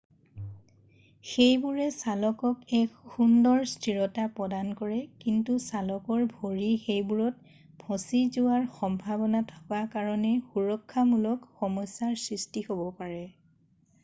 সেইবোৰে চালকক এক সুন্দৰ স্থিৰতা প্ৰদান কৰে কিন্তু চালকৰ ভৰি সেইবোৰত ফঁচি যোৱাৰ সম্ভাৱনা থাকে কাৰণে সুৰক্ষামূলক সমস্যাৰ সৃষ্টি হ'ব পাৰে